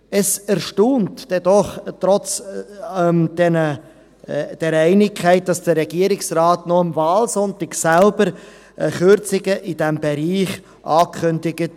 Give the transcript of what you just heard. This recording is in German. Es erstaunt denn aber doch, dass trotz dieser Einigkeit der Regierungsrat noch am Wahlsonntag selbst Kürzungen in diesem Bereich ankündigte.